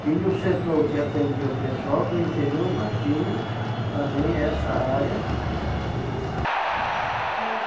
Tinha o setor que atendia o pessoal do interior, mas tinha também essa área. Eh